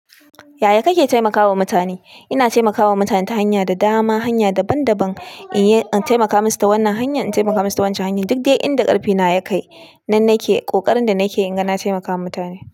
Yaya kake taimaka wa mutane? Ina taimakawa mutane ta hanya da dama, hanya daban-daban. In taimaka musu ta wannan hanya, in taimaka musu ta waccan hanya, duk dai inda ƙarfi na ya kai nan nake ƙoƙarin da nake ina ga na taimakawa mutane.